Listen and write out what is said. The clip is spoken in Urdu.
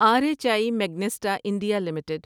are H I Magnesita India limited